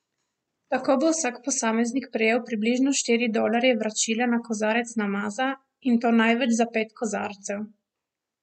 Tako bo vsak posameznik prejel približno štiri dolarje vračila na kozarec namaza, in to največ za pet kozarcev.